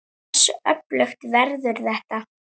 Hversu öflugt verður þetta?